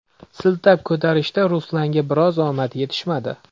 Siltab ko‘tarishda Ruslanga biroz omad yetishmadi.